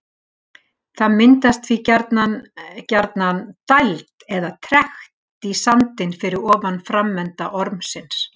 Það myndast því gjarnan gjarnan dæld eða trekt í sandinn fyrir ofan framenda ormsins.